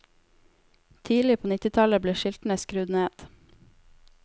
Tidlig på nittitallet ble skiltene skrudd ned.